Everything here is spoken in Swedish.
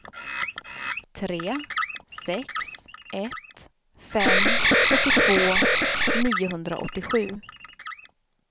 tre sex ett fem sjuttiotvå niohundraåttiosju